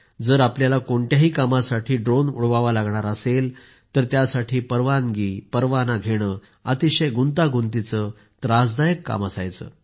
जर आपल्याला कोणत्याही कामासाठी ड्रोन उडवावा लागणार असेल तर त्यासाठी परवाना आणि परवानगी घेणे अतिशय गुंतागुंतीचे त्रासदायक काम होते